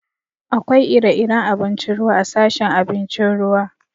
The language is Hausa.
Akwai ire-iren abincin ruwa a'sashin abincin ruwa.